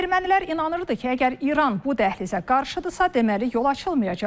Ermənilər inanırdı ki, əgər İran bu dəhlizə qarşıdırsa, deməli yol açılmayacaq.